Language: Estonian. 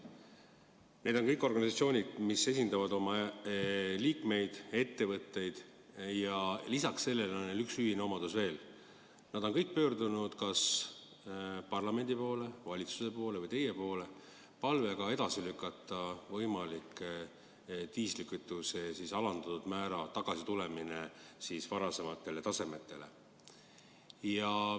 Need kõik on organisatsioonid, mis esindavad oma liikmeid, ettevõtteid, aga peale selle on neil üks ühine omadus veel: nad on kõik pöördunud kas parlamendi, valitsuse või teie poole palvega lükata edasi võimalik diislikütuse aktsiisi alandatud määra tõstmine varasemale tasemele.